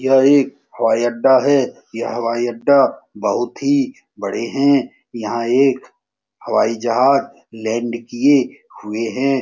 यह एक हवाई अड्डा है। यह हवाई अड्डा बहुत ही बड़े हैं यहाँ एक हवाई जहाज लैंड किए हुए हैं।